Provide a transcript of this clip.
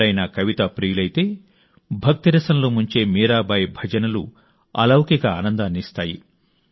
ఎవరైనా కవితా ప్రియులైతే భక్తిరసంలో ముంచే మీరాబాయి భజనలు అలౌకిక ఆనందాన్ని ఇస్తాయి